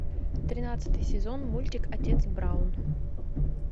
тринадцатый сезон мультик отец браун